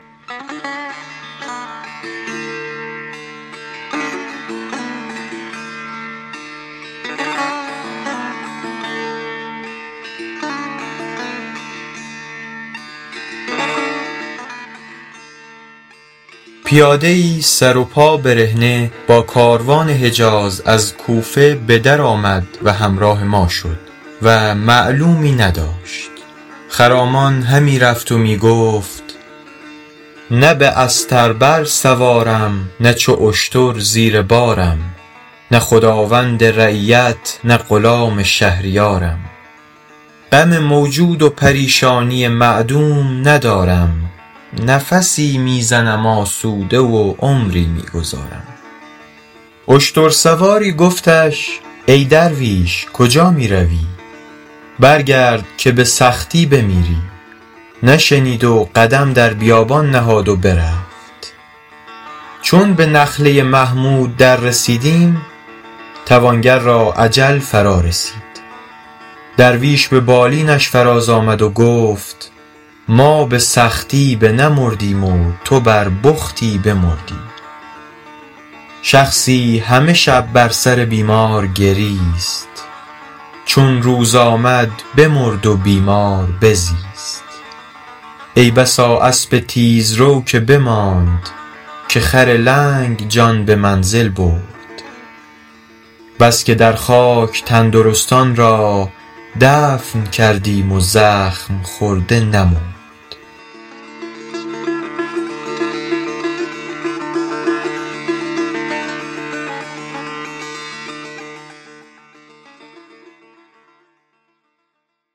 پیاده ای سر و پا برهنه با کاروان حجاز از کوفه به در آمد و همراه ما شد و معلومی نداشت خرامان همی رفت و می گفت نه به استر بر سوارم نه چو اشتر زیر بارم نه خداوند رعیت نه غلام شهریارم غم موجود و پریشانی معدوم ندارم نفسی می زنم آسوده و عمری می گذارم اشتر سواری گفتش ای درویش کجا می روی برگرد که به سختی بمیری نشنید و قدم در بیابان نهاد و برفت چون به نخله محمود در رسیدیم توانگر را اجل فرا رسید درویش به بالینش فراز آمد و گفت ما به سختی بنمردیم و تو بر بختی بمردی شخصی همه شب بر سر بیمار گریست چون روز بشد بمرد و بیمار بزیست ای بسا اسب تیزرو که بماند که خر لنگ جان به منزل برد بس که در خاک تندرستان را دفن کردیم و زخم خورده نمرد